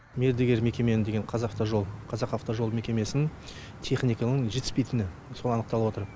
мердігер мекеменің деген қазақавтожол мекемесін техниканың жетіспейтіні сол анықталып отыр